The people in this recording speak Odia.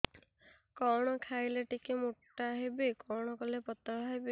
କଣ ଖାଇଲେ ଟିକେ ମୁଟା ହେବି କଣ କଲେ ପତଳା ହେବି